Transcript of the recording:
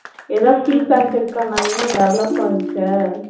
எதாவது feedback இருக்கா நான் இன்னும் develop ஆகிக்க